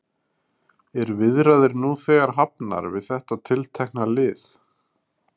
Eru viðræður nú þegar hafnar við þetta tiltekna lið?